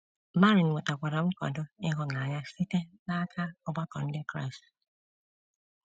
Marin nwetakwara nkwado ịhụnanya site n’aka ọgbakọ ndị Kraịst.